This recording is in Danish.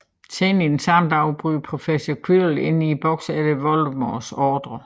Senere den samme dag bryder Professor Quirrell ind i boksen efter Voldemorts ordre